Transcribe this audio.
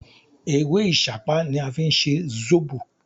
Ewé Ìsápá ni a fí n se Zóbò